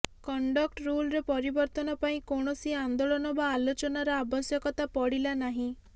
conduct ରୁଲ୍ରେ ପରିବର୍ତ୍ତନ ପାଇଁ କୌଣସି ଆନ୍ଦୋଳନ ବା ଆଲୋଚନାର ଆବଶ୍ୟକତା ପଡ଼ିଲା ନାହିଁ